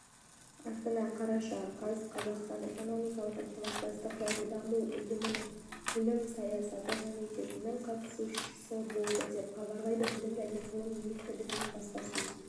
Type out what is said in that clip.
астана қараша қаз қазақстан экономикалық ынтымақтастық және даму ұйымының білім саясаты комитетінің қатысушы болды деп хабарлады білім және ғылым министрлігінің баспасөз